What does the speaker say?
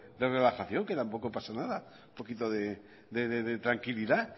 de relajación que tampoco pasa nada un poquito de tranquilidad